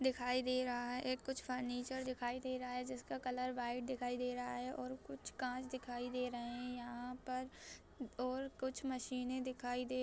दिखाई दे रहा है एक कुछ फर्नीचर दिखाई दे रहा है। जिसका कलर वाइट दिखाई दे रहा है और कुछ काँच दिखाई दे रहे हैं | यहाँ पर और कुछ मशीनें दिखाई दे --